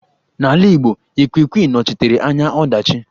N'ala ịgbo, Ikwikwi nọchitere anya ọdachi.